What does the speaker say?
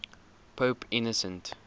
pope innocent